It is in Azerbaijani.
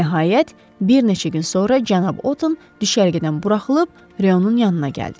Nəhayət, bir neçə gün sonra cənab Otın düşərgədən buraxılıb rayonun yanına gəldi.